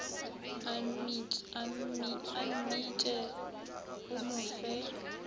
a mmitše o mo fe